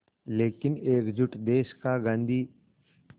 लेकिन एकजुट देश का गांधी